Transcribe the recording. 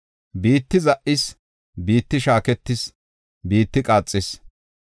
Biitti za77is; biitti shaaketis; biitti qaaxis.